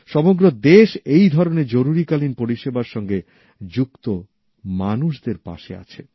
সমগ্র দেশ এই ধরনের জরুরী কালীন পরিষেবার সঙ্গে যুক্ত মানুষদের পাশে আছে